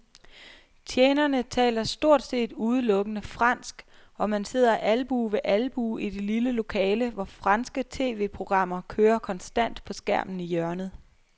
Tjenerne taler stort set udelukkende fransk, og man sidder albue ved albue i det lille lokale, hvor franske tv-programmer kører konstant på skærmen i hjørnet.